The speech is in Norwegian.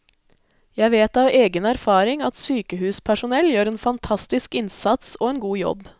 Jeg vet av egen erfaring at sykehuspersonell gjør en fantastisk innsats og en god jobb.